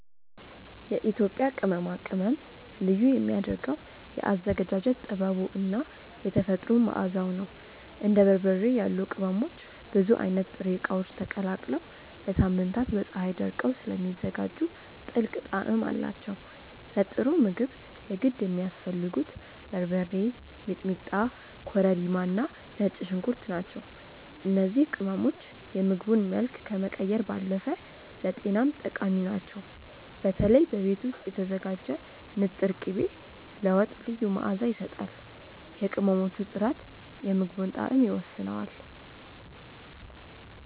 የኢትዮጵያ ቅመማ ቅመም ልዩ የሚያደርገው የአዘገጃጀት ጥበቡ እና የተፈጥሮ መዓዛው ነው። እንደ በርበሬ ያሉ ቅመሞች ብዙ አይነት ጥሬ እቃዎች ተቀላቅለው ለሳምንታት በፀሀይ ደርቀው ስለሚዘጋጁ ጥልቅ ጣዕም አላቸው። ለጥሩ ምግብ የግድ የሚያስፈልጉት በርበሬ፣ ሚጥሚጣ፣ ኮረሪማ እና ነጭ ሽንኩርት ናቸው። እነዚህ ቅመሞች የምግቡን መልክ ከመቀየር ባለፈ ለጤናም ጠቃሚ ናቸው። በተለይ በቤት ውስጥ የተዘጋጀ ንጥር ቅቤ ለወጥ ልዩ መዓዛ ይሰጣል። የቅመሞቹ ጥራት የምግቡን ጣዕም ይወስነዋል።